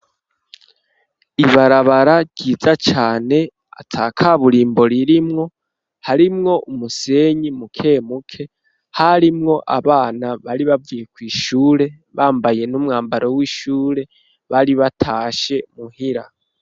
Ibarabara ryiza cane ataka burimbo ririmwo harimwo umusenyi mukemuke harimwo abana bari bavuye ku ishure bambaye n'umwambaro w'ishure bari batashe muhira.